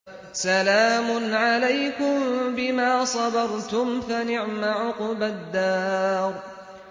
سَلَامٌ عَلَيْكُم بِمَا صَبَرْتُمْ ۚ فَنِعْمَ عُقْبَى الدَّارِ